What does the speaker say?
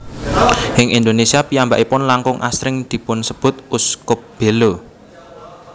Ing Indonesia piyambakipun langkung asring dipunsebut Uskup Belo